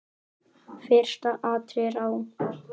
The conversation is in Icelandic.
Fyrsta atriðið á.